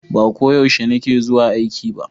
Ba ko yaushe ni ke zuwa aiki ba